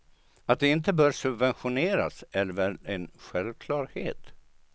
Att de inte bör subventioneras, är väl en självklarhet.